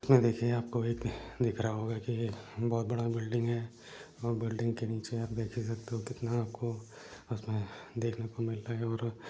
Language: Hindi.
इसमे देखिए आपको एक दिख रहा होगा की बहोत बड़ा बिल्डिंग है और बिल्डिंग के नीचे आप देख ही सकते हो की कितना आपको अ उसमे देखने को मिल रहा है और --